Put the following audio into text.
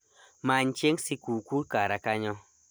many chieng sikuku kara kanyo